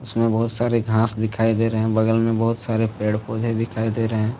इसमें बहुत सारे घास दिखाई दे रहे है बगल में बहुत सारे पेड़ पौधे दिखाई दे रहे है।